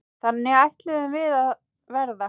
Þannig ætluðum við að verða.